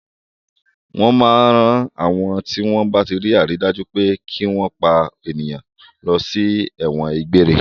Wọ́n máa ń rán àwọn tí wọ́n bá tí rí àrídájú pé kí wọ́n pa ènìyàn lọ sí ẹ̀wọ̀n gbére.